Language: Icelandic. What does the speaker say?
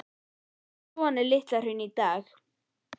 Já, svona er Litla-Hraun í dag.